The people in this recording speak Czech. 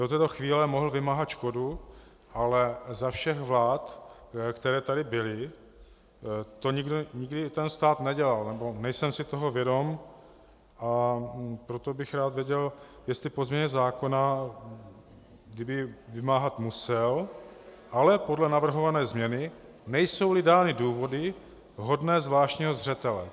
Do této chvíle mohl vymáhat škodu, ale za všech vlád, které tady byly, to nikdo - ten stát - nedělal, nebo nejsem si toho vědom, a proto bych rád věděl, jestli po změně zákona, kdyby vymáhat musel, ale podle navrhované změny - nejsou-li dány důvody hodné zvláštního zřetele.